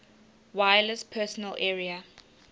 wireless personal area